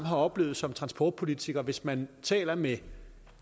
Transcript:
har oplevet som transportpolitikere at hvis man taler med